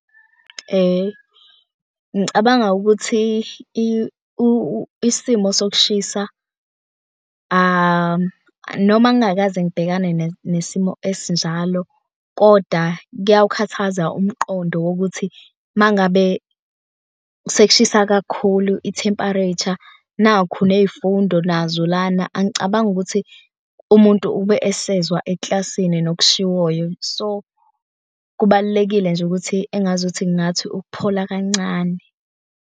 Ngicabanga ukuthi isimo sokushisa, noma ngingakaze ngibhekane nesimo esinjalo kodwa kuyawukhathaza umqondo wokuthi uma ngabe sekushisa kakhulu i-temperature, nakhu ney'fundo nazo lana. Angicabangi ukuthi umuntu ube esezwa eklasini nokushiwoyo. So, kubalulekile nje ukuthi engazuthi ngathi ukuphola kancane.